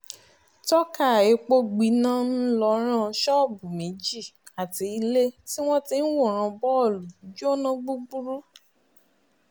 tọ́ka epo gbiná ńlọrọ́n sóòbù méjì àti ilé tí wọ́n ti ń wọ́ran bọ́ọ̀lù jóná gbúgbúrú